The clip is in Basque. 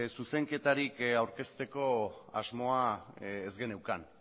zuzenketarik aurkezteko asmoa ez geneukan